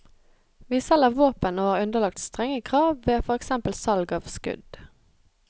Vi selger våpen og er underlagt strenge krav ved for eksempel salg av skudd.